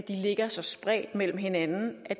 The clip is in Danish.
ligger så spredt mellem hinanden at